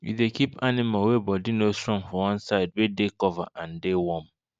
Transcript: we dey keep animal wey body no strong for one side wey dey cover and dey warm